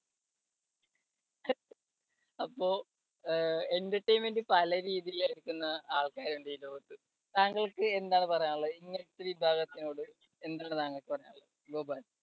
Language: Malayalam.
അപ്പോ അഹ് entertainment പല രീതി എടുക്കുന്ന ആൾക്കാരുണ്ട് ഈ ലോകത്ത്. താങ്കൾക്ക് എന്താണ് പറയാനുള്ളത് ഇങ്ങനത്തെ വിഭാഗത്തിനോട് എന്താണ് താങ്കള്‍ക്ക് പറയാനുള്ളത്. ഗോപാൽ